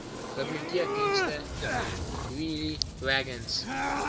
biblioteekdienste wheelie wagons